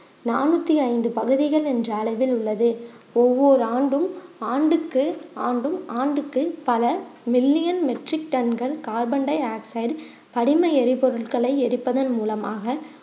நானூத்தி ஐந்து பகுதிகள் என்ற அளவில் உள்ளது ஒவ்வொரு ஆண்டும் ஆண்டுக்கு ஆண்டும் ஆண்டுக்கு பல million metric ton கள் கார்பன் டையாக்சைடு படிம எரிபொருட்களை எரிப்பதன் மூலமாக